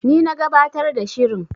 Ni na gabatar da shirin.